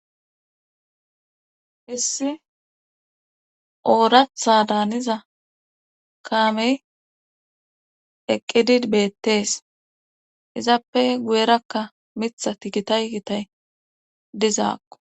Hissi ooratha daaniza kaamey eqqidid beettees izappe guyerakka mitha ti gitaygitay dizaakko